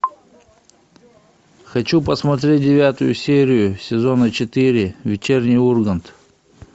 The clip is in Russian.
хочу посмотреть девятую серию сезона четыре вечерний ургант